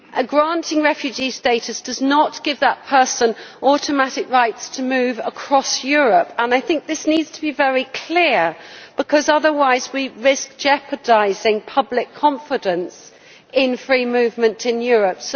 Granting refugee status does not give that person automatic rights to move across Europe, and I think this needs to be very clear because otherwise we risk jeopardising public confidence in free movement in Europe.